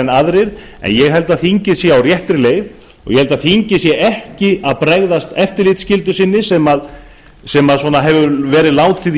en aðrir en ég held að þingið sé á réttri leið og að þingið sé ekki að bregðast eftirlitsskyldu sinni eins og látið hefur verið í